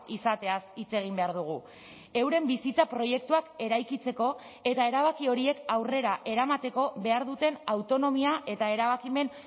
izateaz hitz egin behar dugu euren bizitza proiektuak eraikitzeko eta erabaki horiek aurrera eramateko behar duten autonomia eta erabakimen